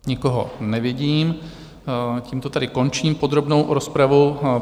Nikoho nevidím, tímto tedy končím podrobnou rozpravu.